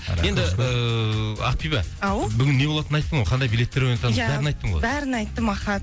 енді ііі ақбибі ау бүгін не болатынын айттың ғой қандай билеттер ойнататынын бәрін айттың ғой иә бәрін айттым аха